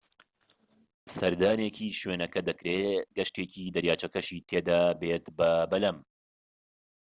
سەردانێکی شوێنەکە دەکرێت گەشتێکی دەریاچەکەشی تێدابێت بە بەلەم